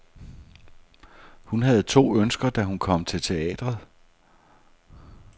Hun havde to ønsker, da hun kom til teatret.